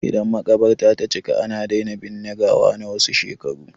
Idan maƙabarta ta cika, ana daina binne gawa na wasu shekaru.